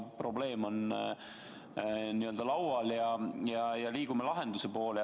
Probleem on laual ja liigume lahenduse poole.